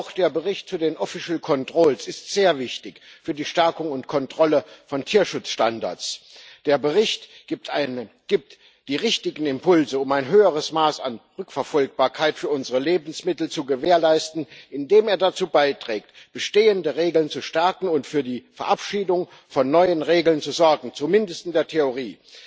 Auch der Bericht über amtliche Kontrollen ist sehr wichtig für die Stärkung und Kontrolle von Tierschutzstandards. Der Bericht gibt die richtigen Impulse, um ein höheres Maß an Rückverfolgbarkeit für unsere Lebensmittel zu gewährleisten, indem er dazu beiträgt, bestehende Regeln zu stärken und für die Verabschiedung von neuen Regeln zu sorgen, zumindest in der Theorie.